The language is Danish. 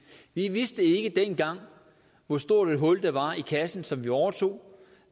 vi vidste ikke dengang hvor stort et hul der var i kassen som vi overtog